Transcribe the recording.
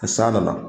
Ni san nana